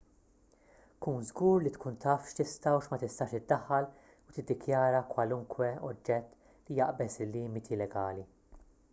kun żgur li tkun taf x'tista' u x'ma tistax iddaħħal u tiddikjara kwalunkwe oġġett li jaqbeż il-limiti legali